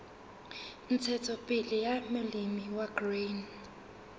ntshetsopele ya molemi wa grain